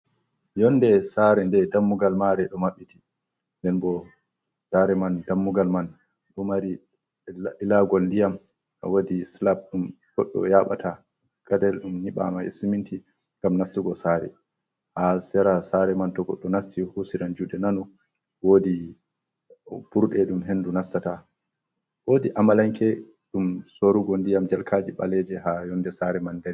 Yonde sare nde dammugal mare ɗo maɓɓiti, den bo sare man dammugal man ɗo mari ilagol ndiyam wodi slap ɗum goɗɗo yaɓata gadayel ɗum nyiɓama e siminti ngam nastugo sare, ha sera sare man to goɗɗo nasti husiran juɗe nano wodi ɓurɗe ɗum hendu nastata, wodi amalanke ɗum sorugo ndiyam jarkaje ɓaleje ha yonde sare man dari.